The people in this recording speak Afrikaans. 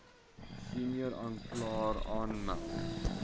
senior aanklaer aanmeld